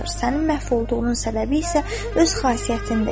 Səni məhv olduğunun səbəbi isə öz xasiyyətindir.